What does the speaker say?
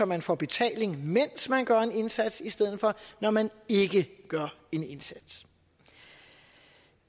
man får betaling mens man gør en indsats i stedet for når man ikke gør en indsats